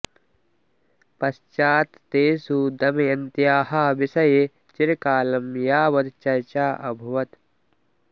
पश्चात् तेषु दमयन्त्याः विषये चिरकालं यावत् चर्चा अभवत्